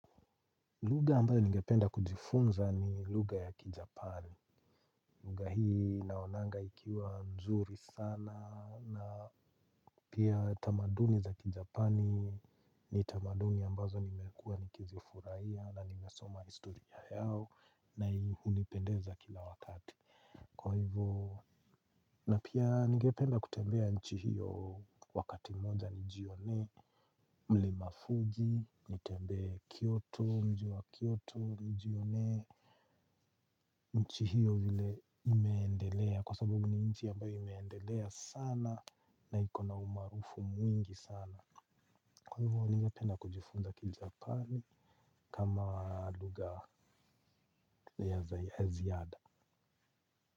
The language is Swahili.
Lugha ambayo ningependa kujifunza ni lugha ya kijapani. Lugha hii naonanga ikiwa nzuri sana na pia tamaduni za kijapani ni tamaduni ambazo nimekuwa nikizifurahia na nimesoma historia yao na hii hunipendeza kila wakati. Kwa hivyo na pia ningependa kutembea nchi hiyo wakati moja nijionee. Mlima fuji, nitembee Kioto, mji wa Kioto, nijionee. Nchi hiyo vile imeendelea kwa sababu ni nchi ambayo imeendelea sana. Na iko na umaarufu mwingi sana. Kwa hivyo ningependa kujifunza kijapani kama lugha ya zayaziada.